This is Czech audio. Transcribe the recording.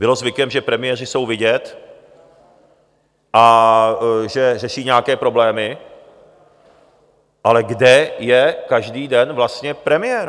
Bylo zvykem, že premiéři jsou vidět a že řeší nějaké problémy, ale kde je každý den vlastně premiér?